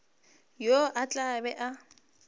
yo o tla be a